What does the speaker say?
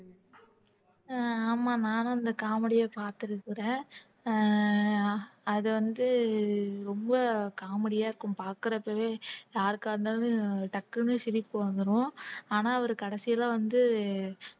அஹ் ஆமா நான்தான் இந்த comedy அ பார்த்திருக்கிறேன் அஹ் அது வந்து ரொம்ப comedy யா இருக்கும் பார்க்கிறப்பவே யாருக்கா இருந்தாலும் டக்குனு சிரிப்பு வந்துரும் ஆனா அவரு கடைசியில வந்து